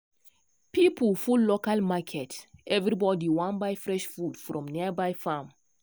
people full local market everybody wan buy fresh food from nearby farm.